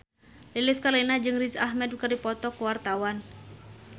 Lilis Karlina jeung Riz Ahmed keur dipoto ku wartawan